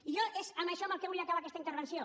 i jo és amb això amb el que vull acabar aquesta intervenció